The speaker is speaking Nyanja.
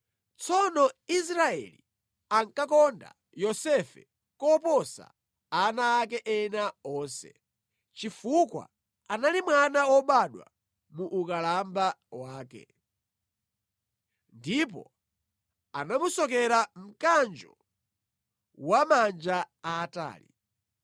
Tsono Israeli ankakonda Yosefe koposa ana ake ena onse, chifukwa anali mwana wobadwa muukalamba wake. Ndipo anamusokera mkanjo wa manja aatali.